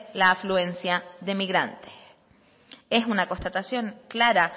la afluencia de migrantes es una constatación clara